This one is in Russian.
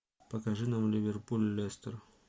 покажи нам ливерпуль лестер